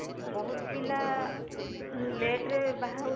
ବହୁତ ପିଲା late ରେ ବାହା ହଉଛନ୍ତି